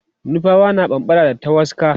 nupawa na bambara da tawaska